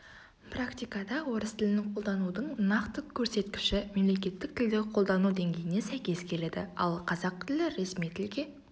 практикада орыс тілін қолданудың нақты көрсеткіші мемлекеттік тілді қолдану деңгейіне сәйкес келеді ал қазақ тілі ресми тілге